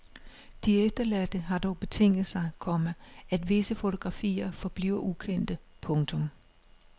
De efterladte har dog betinget sig, komma at visse fotografier forbliver ukendte. punktum